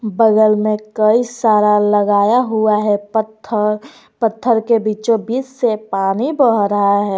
बगल में कई सारा लगाया हुआ है पत्थर पत्थर के बीचोंबीच से पानी बह रहा है।